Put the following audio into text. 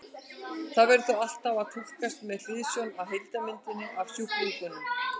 Það verður því alltaf að túlkast með hliðsjón af heildarmyndinni af sjúklingnum.